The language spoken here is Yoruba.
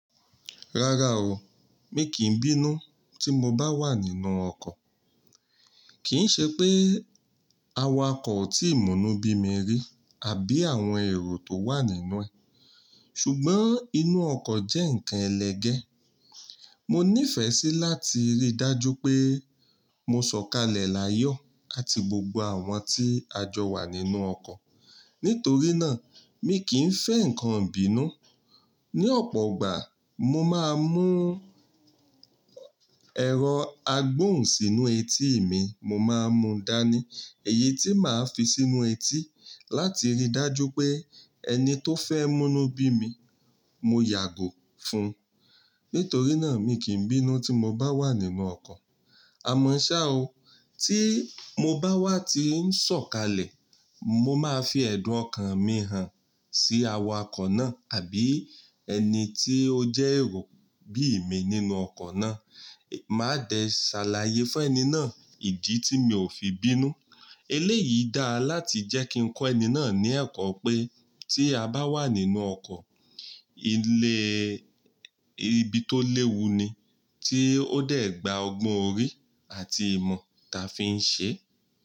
Rárá o, mi kì í bínú tí mo bá wà nínú ọkọ̀. Kì í ṣe pé áwákọ̀ tí ì mù nú bí mi rí àbí àwọn èrò tó wà nínú ẹ̀. Ṣùgbọ́n inú ọkọ̀ jẹ́ ǹkan ẹlẹgẹ́. Mo nífẹ̀ẹ́ sí láti rí dájú pé mo ṣọ̀kalẹ̀ láyọ àti gbògbò àwọn tí a jọ wà nínú ọkọ̀. Nítorí náà mi kì í fẹ́ ǹkan ìbínú. Ni ọ̀pọ̀ ọgbà mó máa mú ẹ̀rọ agbóhùn sínú ètí mi, mo máa mú dání èyí tí màá fi sínú ètí láti rí dájú pé ẹni tó fẹ́ múnú bí mi, mo yàgò fún. Nítorí náà mi kì í bínú tí mo bá wà nínú ọkọ̀. Àmọ́ ṣá o, tí mo bá wà tí ń ṣọ̀kalẹ̀, mo máa fi ẹ̀dùn ọkàn mi hàn sí awakọ̀ náà àbí ẹni tí ó jẹ́ èrò bí mi nínú ọkọ̀ náà. Máa dẹ sàlàyé fún ẹni náà ìdí tí mi ò fi bínú. Eléyìí dáa láti jẹ́ kí n kọ́ ẹni náà ní ẹ̀kọ́ pé tí a bá wà nínú ọkọ̀, ilé ibi tó léwu ni, tí ó dẹ̀ gbá ọgbọ́n orí àti ìmọ̀ ta fi ń ṣe.